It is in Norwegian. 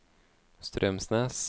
Straumsnes